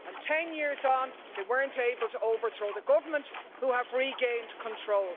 And ten years on, they weren't able to overthrow the government, who have regained control.